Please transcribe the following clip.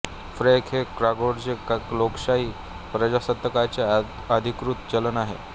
Frank हे कॉंगोचे लोकशाही प्रजासत्ताकाचे अधिकृत चलन आहे